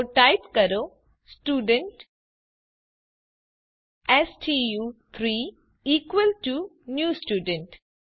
તો ટાઇપ કરો સ્ટુડન્ટ સ્ટુ3 ઇકવલ ટુ ન્યૂ સ્ટુડન્ટ